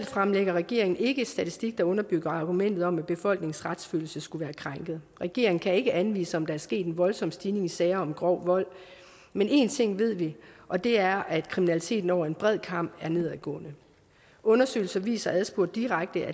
fremlægger regeringen ikke selv statistik der underbygger argumentet om at befolkningens retsfølelse skulle være krænket regeringen kan ikke anvise om der er sket en voldsom stigning i sager om grov vold men én ting ved vi og det er at kriminaliteten over en bred kam er nedadgående undersøgelser viser at adspurgt direkte